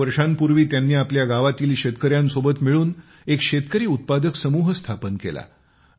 चार वर्षांपूर्वी त्यांनी आपल्या गावातील शेतकऱ्यांसोबत मिळून एक शेतकरी उत्पादक समूह स्थापन केला